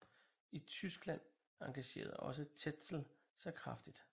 I Tyskland engagerede også Tetzel sig kraftigt